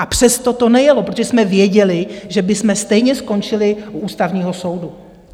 A přesto to nejelo, protože jsme věděli, že bychom stejně skončili u Ústavního soudu.